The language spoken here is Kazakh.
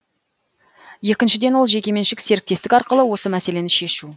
екіншіден ол жекеменшік серіктестік арқылы осы мәселені шешу